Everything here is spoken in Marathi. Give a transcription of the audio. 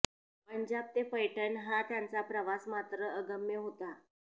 पंजाब ते पैठण हा त्याचा प्रवास मात्र अगम्य होता